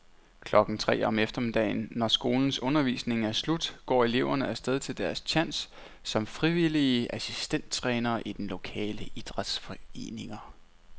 Klokken tre om eftermiddagen, når skolens undervisning er slut, går eleverne af sted til deres tjans som frivillige assistenttrænere i de lokale idrætsforeninger.